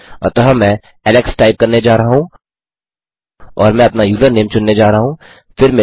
अतः मैं Alex type करने जा रहा हूँ और मैं अपना यूज़रनेम चुनने जा रहा हूँ